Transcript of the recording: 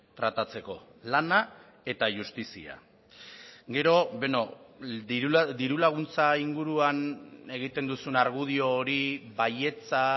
tratatzeko lana eta justizia gero beno diru laguntza inguruan egiten duzun argudio hori baietza